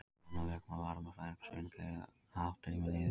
Það er annað lögmál varmafræðinnar sem sýnir í hvaða átt tíminn líður.